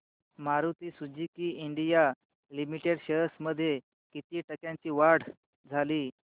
Maruti Suzuki India limited shares मध्ये किती टक्क्यांची वाढ झाली